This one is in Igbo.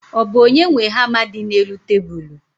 Ọ bụ onye nwe hama dị n'elu tebulu?